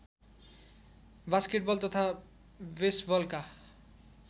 basketball तथा बेसबलका